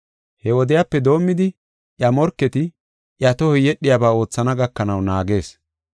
He wodiyape doomidi iya morketi iya tohoy yedhiyabaa oothana gakanaw naagees.